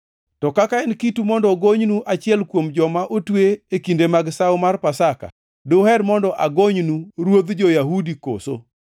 To kaka en kitu mondo agonynu achiel kuom joma otwe e kinde mag sawo mar Pasaka, duher mondo agonynu ‘ruodh jo-Yahudi’ koso?”